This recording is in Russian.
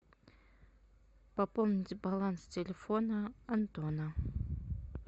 пополнить баланс телефона антона